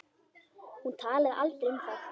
Hún talaði aldrei um það.